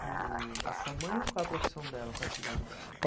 E o a sua mãe, qual a profissão dela, qual a atividade dela?